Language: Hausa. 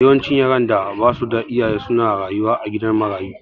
Yawancin yaran da basu da iyaye su na rayuwa a gidan marayu